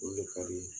O le ka di